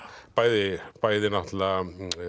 bæði bæði náttúrulega